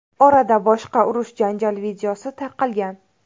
Orada boshqa urush-janjal videosi tarqalgan.